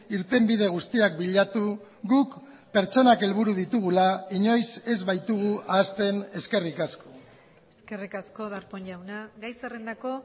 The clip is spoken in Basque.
irtenbide guztiak bilatu guk pertsonak helburu ditugula inoiz ez baitugu ahazten eskerrik asko eskerrik asko darpón jauna gai zerrendako